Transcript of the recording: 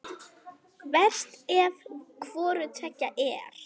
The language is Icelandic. Verst ef hvoru tveggja er.